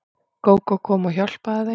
Gógó kom og hjálpaði þeim.